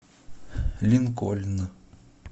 линкольн